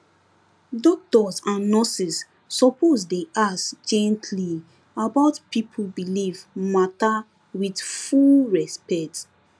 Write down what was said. doctors and nurses suppose dey ask gently about people belief matter with with full respect